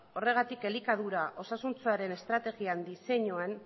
horregatik elikadura osasuntsuaren estrategian diseinua